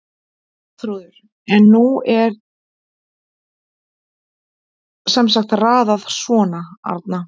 Arnþrúður en nú er sem sagt raðað svona: Arna